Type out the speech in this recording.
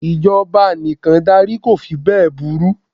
Ìjọba anìkàndarí ko fí bẹ́è burú.